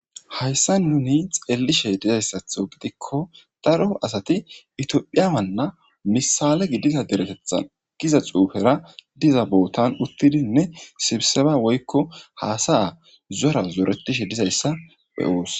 hayssa nuni xeellishe dizayssatho gidikko daru asati itiophiyawanna misale gidiza deretethan giza xuufera diza bootan uttidinne sibseba woykko haasaya zora zoretishe dizayssa beyoos